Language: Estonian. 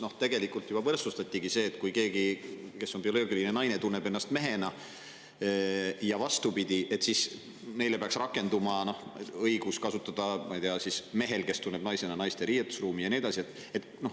Seal tegelikult juba seda, et kellelegi, kes on bioloogilises mõttes naine, aga tunneb ennast mehena, või vastupidi, peaks rakenduma õigus kasutada riietusruumi ja nii edasi.